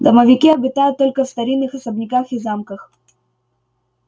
домовики обитают только в старинных особняках и замках